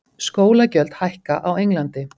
Skólagjöld hækka á Englandi